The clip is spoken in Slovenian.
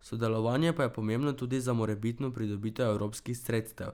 Sodelovanje pa je pomembno tudi za morebitno pridobitev evropskih sredstev.